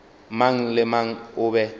mang le mang o be